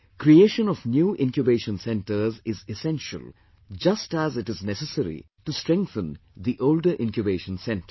Creation of new Incubation Centres is essential just as it is necessary to strengthen the older Incubation Centres